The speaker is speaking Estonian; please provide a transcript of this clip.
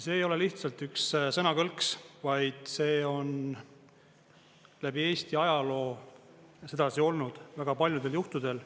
See ei ole lihtsalt üks sõnakõlks, vaid see on läbi Eesti ajaloo sedasi olnud väga paljudel juhtudel.